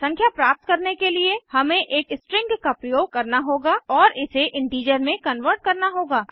संख्या प्राप्त करने के लिए हमें एक स्ट्रिंग का प्रयोग करना होगा और इसे इंटीजर में कन्वर्ट करना होगा